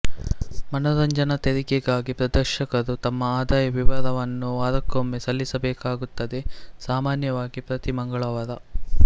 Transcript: ಮನೋರಂಜನಾ ತೆರಿಗೆಗಾಗಿ ಪ್ರದರ್ಶಕರು ತಮ್ಮ ಆದಾಯ ವಿವರವನ್ನು ವಾರಕ್ಕೊಮ್ಮೆ ಸಲ್ಲಿಸಬೇಕಾಗುತ್ತದೆ ಸಾಮಾನ್ಯವಾಗಿ ಪ್ರತಿ ಮಂಗಳವಾರ